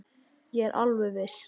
Ég er alveg viss.